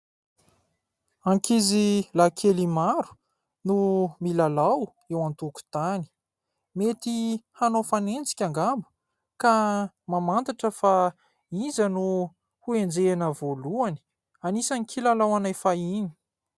Ankizilahy kely maro no milalao eo an-tokotany. Mety hanao fanenjika angamba, ka mamantatra fa : iza no ho enjehina voalohany ? Anisan'ny kilalao anay fahiny.